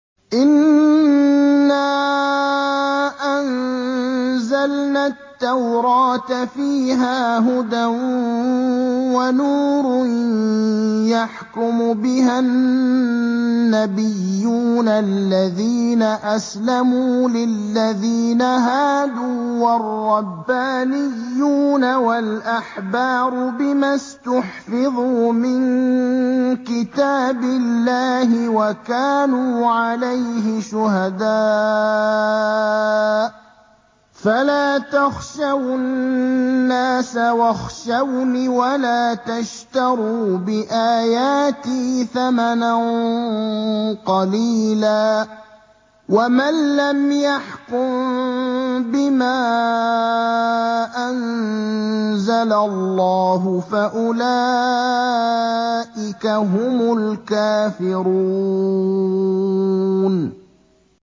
إِنَّا أَنزَلْنَا التَّوْرَاةَ فِيهَا هُدًى وَنُورٌ ۚ يَحْكُمُ بِهَا النَّبِيُّونَ الَّذِينَ أَسْلَمُوا لِلَّذِينَ هَادُوا وَالرَّبَّانِيُّونَ وَالْأَحْبَارُ بِمَا اسْتُحْفِظُوا مِن كِتَابِ اللَّهِ وَكَانُوا عَلَيْهِ شُهَدَاءَ ۚ فَلَا تَخْشَوُا النَّاسَ وَاخْشَوْنِ وَلَا تَشْتَرُوا بِآيَاتِي ثَمَنًا قَلِيلًا ۚ وَمَن لَّمْ يَحْكُم بِمَا أَنزَلَ اللَّهُ فَأُولَٰئِكَ هُمُ الْكَافِرُونَ